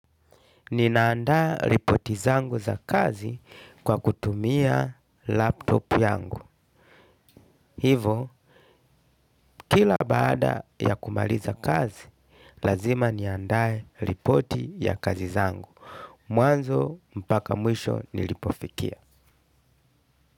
Ninaandaa ripoti zangu za kazi kwa kutumia laptop yangu. Hivo, kila baada ya kumaliza kazi, lazima niandae ripoti ya kazi zangu. Mwanzo, mpaka mwisho nilipofikia.